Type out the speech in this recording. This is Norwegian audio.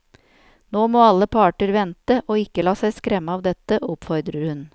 Nå må alle parter vente og ikke la seg skremme av dette, oppfordrer hun.